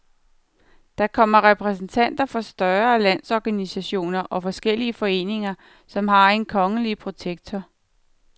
Der kommer repræsentanter for større landsorganisationer og forskellige foreninger, som har en kongelige protektor.